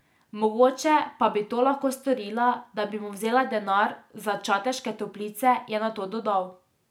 Mogoče pa bi to lahko storila, da bi mu vzela denar za Čateške toplice, je nato dodal.